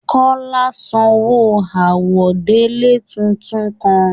Kọla sanwó àwọ̀délẹ̀ tuntun kàn.